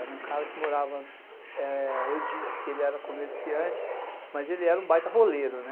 Era um cara que morava, e, eu disse que ele era comerciante, mas ele era um baita roleiro, né?